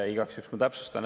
Igaks juhuks täpsustan.